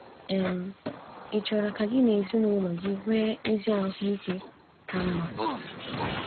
um Ị̀ chọrọ ka gị na ezinụlọ gị nwee ezi ahụ ike ka mma?